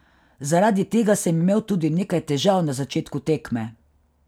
Zaradi tega sem imel tudi nekaj težav na začetku tekme.